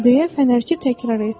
deyə fənərçi təkrar etdi.